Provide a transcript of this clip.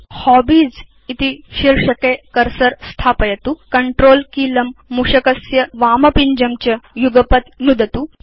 अधुना हॉबीज इति शीर्षके बाणं स्थापयतु Controlकीलं मूषकस्य वामपिञ्जं च युगपत् नुदतु